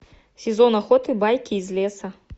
сезон охоты байки из леса